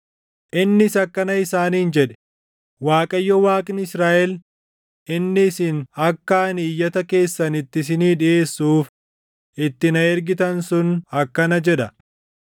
Innis akkana isaaniin jedhe; “ Waaqayyo Waaqni Israaʼel inni isin akka ani iyyata keessan itti isinii dhiʼeessuuf itti na ergitan sun akkana jedha: